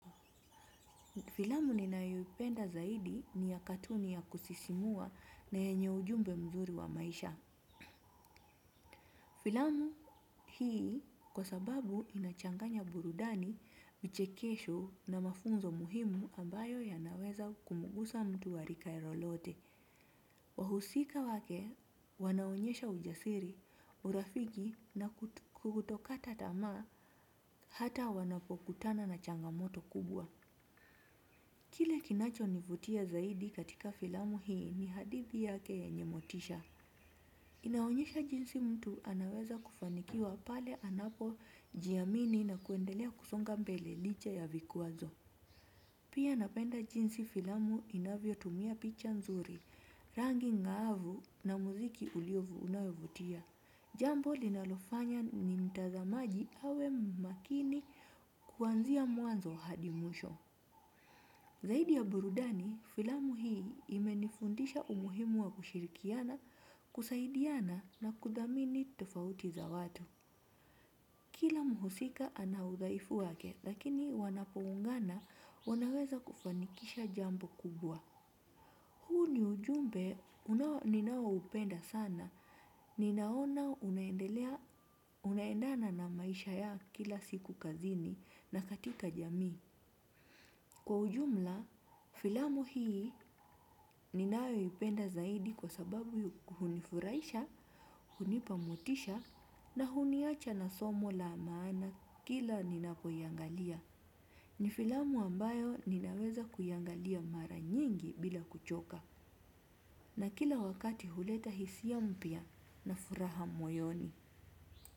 Filamu ninayoipenda zaidi ni ya katuni ya kusisimua na yenye ujumbe mzuri wa maisha. Filamu hii kwa sababu inachanganya burudani, vichekesho na mafunzo muhimu ambayo yanaweza kumugusa mtu warika lolote. Wahusika wake wanaonyesha ujasiri, urafiki na kutokata tamaa hata wanapokutana na changamoto kubwa. Kile kinacho nivutia zaidi katika filamu hii ni hadithi yake yenye motisha. Inaonyesha jinsi mtu anaweza kufanikiwa pale anapo jiamini na kuendelea kusonga mbele licha ya vikwazo. Pia napenda jinsi filamu inavyo tumia picha nzuri, rangi ng'aavu na muziki uliovu, unayovutia. Jambo linalofanya ni mtazamaji awe makini kuanzia mwanzo hadi mwisho. Zaidi ya burudani, filamu hii imenifundisha umuhimu wa kushirikiana, kusaidiana na kudhamini tofauti za watu. Kila muhusika anaudhaifu wake, lakini wanapoungana wanaweza kufanikisha jambo kubwa. Huu ni ujumbe, ninao upenda sana. Ninaona unaendelea, unaendana na maisha ya kila siku kazini na katika jamii. Kwa ujumla, filamu hii ninayo ipenda zaidi kwa sababu hunifurahisha, hunipa motisha na huniacha na somo la maana kila ninapoiangalia. Nifilamu ambayo ninaweza kuiangalia mara nyingi bila kuchoka na kila wakati huleta hisia mpya na furaha moyoni.